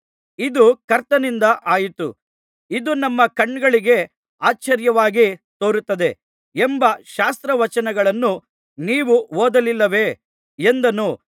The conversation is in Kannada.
ಇದು ಕರ್ತನಿಂದಲೇ ಆಯಿತು ಇದು ನಮ್ಮ ಕಣ್ಣುಗಳಿಗೆ ಆಶ್ಚರ್ಯವಾಗಿ ತೋರುತ್ತದೆ ಎಂಬ ಶಾಸ್ತ್ರವಚನಗಳನ್ನೂ ನೀವು ಓದಲಿಲ್ಲವೇ ಎಂದನು